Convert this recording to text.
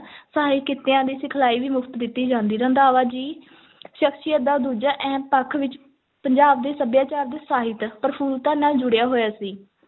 ਸਹਾਇਕ ਕਿੱਤਿਆਂ ਦੀ ਸਿਖਲਾਈ ਵੀ ਮੁਫ਼ਤ ਦਿੱਤੀ ਜਾਂਦੀ, ਰੰਧਾਵਾ ਜੀ ਸ਼ਖ਼ਸੀਅਤ ਦਾ ਦੂਜਾ ਅਹਿਮ ਪੱਖ ਵਿੱਚ ਪੰਜਾਬ ਦੇ ਸੱਭਿਆਚਾਰ ਤੇ ਸਾਹਿਤ ਪ੍ਰਫੁਲਤਾ ਨਾਲ ਜੁੜਿਆ ਹੋਇਆ ਸੀ,